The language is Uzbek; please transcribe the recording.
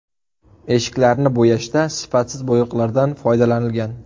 Eshiklarni bo‘yashda sifatsiz bo‘yoqlardan foydalanilgan.